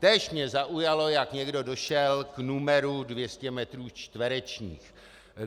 Též mě zaujalo, jak někdo došel k numeru 200 metrů čtverečních.